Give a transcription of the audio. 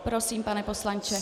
Prosím, pane poslanče.